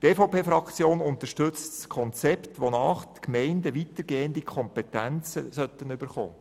Die EVP-Fraktion unterstützt das Konzept, wonach die Gemeinden weitergehende Kompetenzen erhalten sollen.